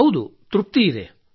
ಹೌದು ತೃಪ್ತಿ ಇದೆ